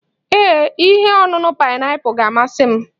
Ee, ihe ọṅụṅụ paịnapụl ga-amasị m